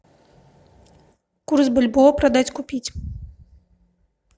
курс бальбоа продать купить